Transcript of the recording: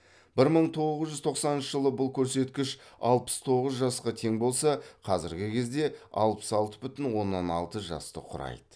бір мың тоғыз жүз тоқсаныншы жылы бұл көрсеткіш алпыс тоғыз жасқа тең болса қазіргі кезде алпыс алты бүтін оннан алты жасты кұрайды